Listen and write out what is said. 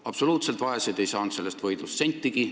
Absoluutselt vaesed ei saanud sellest võidust sentigi.